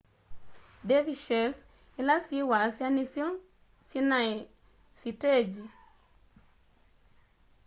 dervishes ila syi wasya nisyo sinai sitengyi